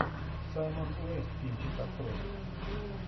саймон уэст кинчик открой